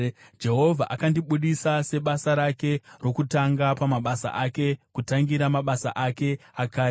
“Jehovha akandibudisa sebasa rake rokutanga pamabasa ake, kutangira mabasa ake akare;